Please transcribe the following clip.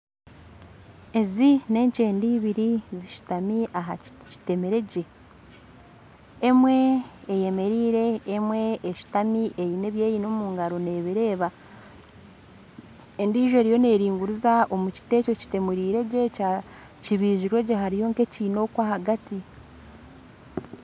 Ezi nenkyende lbiri zishutami ahakiti kitemire gye emwe eyemereire emwe eshutami eine ebyeyine omungaro nebireeba endiijo eriyo neringuriza omukiti ekyo ekiteemiregye kibiziregye hariyo nkekiina okwo ahagati